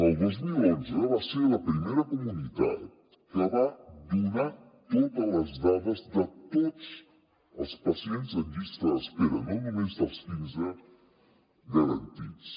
el dos mil onze va ser la primera comunitat que va donar totes les dades de tots els pacients en llista d’espera no només dels garantits